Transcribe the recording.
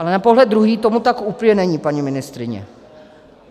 Ale na pohled druhý tomu tak úplně není, paní ministryně.